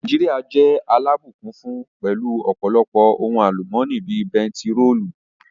Nàìjíríà jẹ́ alábùkún fún pẹ̀lú u ọ̀pọ̀lọpọ̀ ohun àlùmọ́nì bíi bentiróòlù